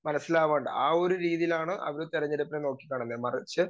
speaker 2 മനസ്സിലാവാൻ ആ ഒരു രീതിയിലാണ് അവർ തെരഞ്ഞെടുപ്പിനെ നോക്കിക്കാണുന്ന മറിച്ച്